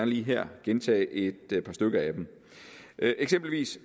lige her gentage et par stykker af dem eksempelvis